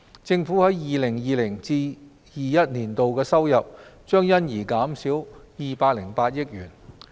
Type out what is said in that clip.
政府在 2020-2021 年度的收入將因而減少208億元。